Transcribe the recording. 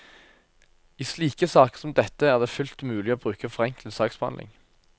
I slike saker som dette er det fullt mulig å bruke forenklet saksbehandling.